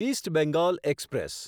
east Bengal express